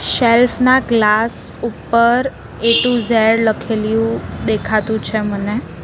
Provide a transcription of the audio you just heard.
Self ના glass ઉપર A to Z લખેલીયુ દેખાતું છે મને.